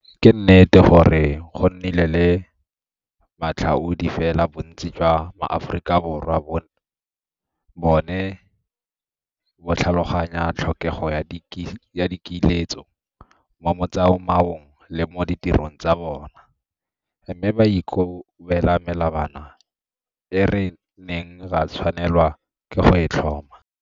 Ke nnete gore go nnile le matlhaodi, fela bontsi jwa Maaforika Borwa bo ne bo tlhaloganya tlhokego ya dikiletso mo motsamaong le mo ditirong tsa bona, mme ba ikobela melawana e re neng ra tshwanelwa ke go e tlhoma.